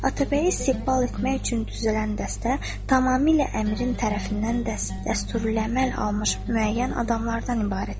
Atabəyi istiqbal etmək üçün düzələn dəstə tamamilə Əmirin tərəfindən dəsturu əməl almış müəyyən adamlardan ibarət idi.